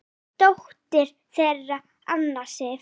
Dóttir þeirra Anna Sif.